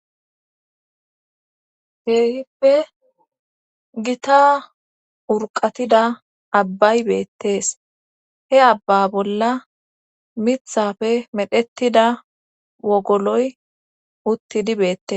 heehippe gita urqatida abbay beettees he abba bolla mithafe medhettida wogoloy uttidi beettes